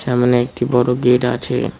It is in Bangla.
সামনে একটি বড় গেট আছে।